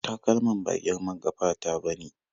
Takalman ba girman ƙafa ta ba ne.